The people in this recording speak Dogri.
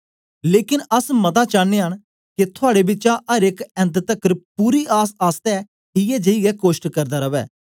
लेकन अस मता चानयां न के थुआड़े बिचा अर एक ऐन्त तकर पूरी आसआसतै इयै जेई गै कोष्ट करदा रवै